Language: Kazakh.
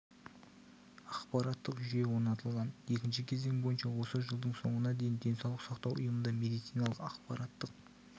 ақпараттық жүйе орнатылған екінші кезең бойынша осы жылдың соңына дейін денсаулық сақтау ұйымында медициналық ақпараттық